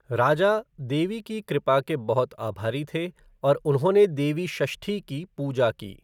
राजा, देवी की कृपा के बहुत आभारी थे और उन्होंने देवी षष्ठी की पूजा की।